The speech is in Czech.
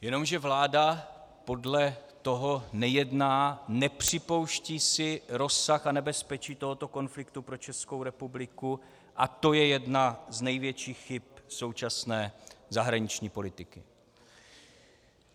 Jenomže vláda podle toho nejedná, nepřipouští si rozsah a nebezpečí tohoto konfliktu pro Českou republiku a to je jedna z největších chyb současné zahraniční politiky.